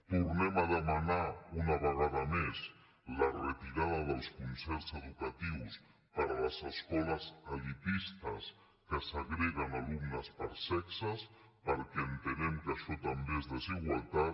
tornem a demanar una vegada més la retirada dels concerts educatius per a les escoles elitistes que segreguen alumnes per sexes perquè entenem que ai·xò també és desigualtat